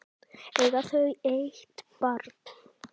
Eiga þau eitt barn.